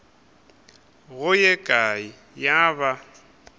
go ye kae ya ba